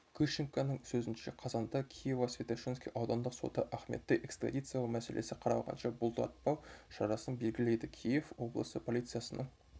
грищенконың сөзінше қазанда киево-святошинский аудандық соты ахметті экстрадициялау мәселесі қаралғанша бұлтартпау шарасын белгілейді киев облысы полициясының